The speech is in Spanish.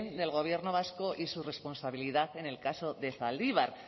del gobierno vasco y su responsabilidad en el caso de zaldibar